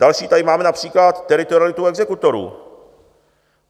Další tady máme například teritorialitu exekutorů.